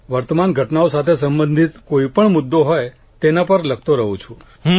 વર્તમાન ઘટનાઓ સાથે સંબંધિત કોઇપણ મુદ્દો હોય તેના પર લખતો રહું છું